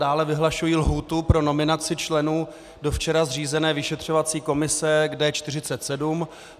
Dále vyhlašuji lhůtu pro nominaci členů včera zřízené vyšetřovací komise k D47.